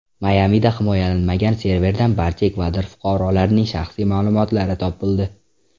Mayamida himoyalanmagan serverdan barcha Ekvador fuqarolarining shaxsiy ma’lumotlari topildi.